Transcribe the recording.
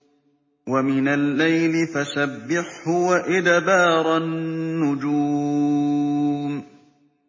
وَمِنَ اللَّيْلِ فَسَبِّحْهُ وَإِدْبَارَ النُّجُومِ